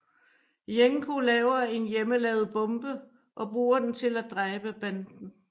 Jenko laver en hjemmelavet bombe og bruger den til at dræbe banden